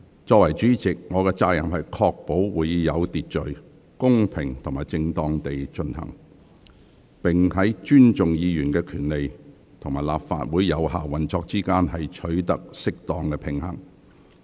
作為主席，我有責任確保會議有秩序、公平及正當地進行，並在尊重議員權利與立法會有效運作之間，取得適當平衡。